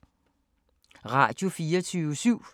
Radio24syv